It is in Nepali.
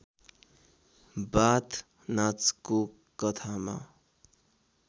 बाथ नाचको कथामा